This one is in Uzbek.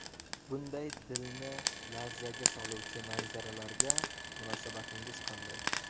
Bunday dilni larzaga soluvchi manzaralarga munosabatingiz qanday?